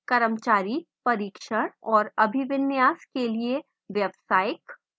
कर्मचारी प्रशिक्षण और अभिविन्यास के लिए व्यवसायिक